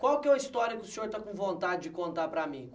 Qual que é é uma história que o senhor está com vontade de contar para mim?